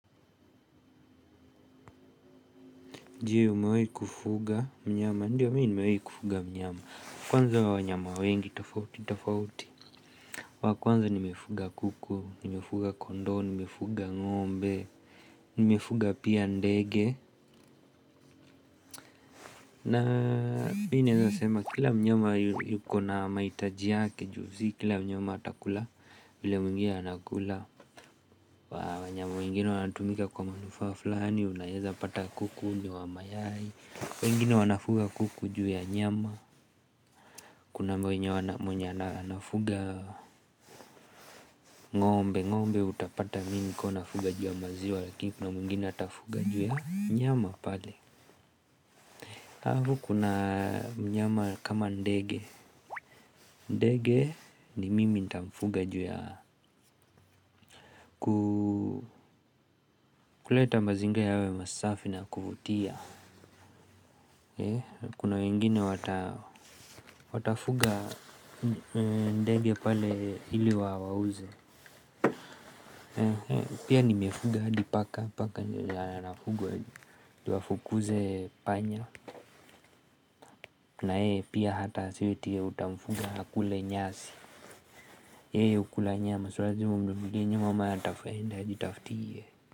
Je, umewahi kufuga mnyama? Ndiyo mi nimewahi kufuga mnyama. Kwanza wanyama wengi tofauti tofauti. Wa kwanza nimefuga kuku, nimefuga kondoo, nimefuga ngombe, nimefuga pia ndege. Na mi naezasema kila mnyama yuko na mahitaji yake ju si kila mnyama atakula vile mwingine anakula. Wanyama wengine wanatumika kwa manufaa fulani, unaeza pata kuku ni wa mayai, wengine wanafuga kuku ju ya nyama. Kuna mwenye wana mwenye anafuga ngombe, ngombe utapata mingi ukiwa unafuga ju ya maziwa. Lakini kuna mwingine atafuga ju ya nyama pale. Halafu kuna nyama kama ndege. Ndege ni mimi nitamfuga ju ya kuleta mazingira yawe masafi na ya kuvutia. Kuna wengine watafuga ndege pale ili wauze. Pia nimefuga hadi paka. Paka anafugwa ju afukuze panya na yeye pia hata si eti utamfuga akule nyasi. Yeye hukula nyama sio lazima umnunulie nyama maana hatafaida ajitaftie.